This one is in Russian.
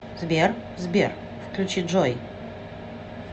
сбер сбер включи джой